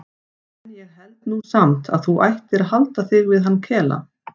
En ég held nú samt að þú ættir að halda þig við hann Kela.